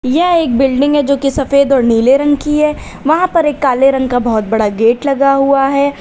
यह एक बिल्डिंग है जो की सफेद और नीले रंग की है वहां पर एक काले रंग का बहुत बड़ा गेट लगा हुआ है।